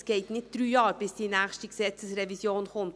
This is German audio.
Es dauert nicht drei Jahre bis die nächste StG-Revision kommt.